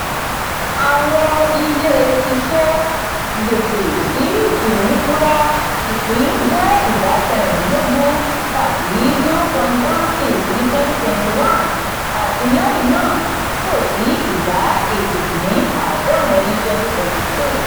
àwọn ilé-iṣẹ́ gbèsè-sí-ìnífura ìpín jẹ́ ìdá kerìdinlógún tabi zero point one six ni twenty twenty one ati lẹhinna fo si ìdá éjì-dín-àádórin ni twenty twenty two.